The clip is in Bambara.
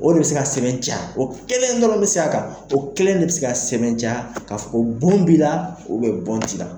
O de bɛ se ka sɛbɛn ca, o kelen dɔrɔn bɛ se a kan, o kelen de bɛ se ka sɛbɛn ca ka fɔ bun b'i la o bɛ bɔɔn t'i la.